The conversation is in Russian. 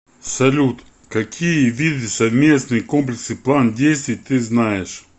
салют какие виды совместный комплексный план действий ты знаешь